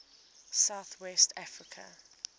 south west africa